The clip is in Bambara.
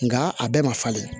Nka a bɛɛ ma falen